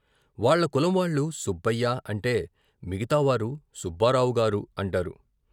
వాళ్ళ కులంవాళ్ళు సుబ్బయ్య అంటే మిగతావారు సుబ్బారావుగారు అంటారు.